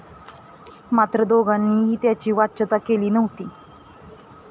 मात्र दोघांनीही याची वाच्यता केली नव्हती.